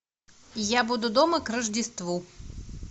я буду дома к рождеству